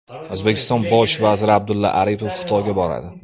O‘zbekiston bosh vaziri Abdulla Aripov Xitoyga boradi.